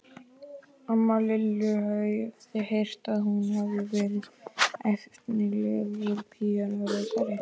Láttu nú ekki landshöfðingjann sjá, að þú lesir þetta skrílblað.